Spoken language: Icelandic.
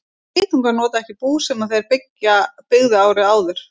Geitungar nota ekki bú sem þeir byggðu árið áður.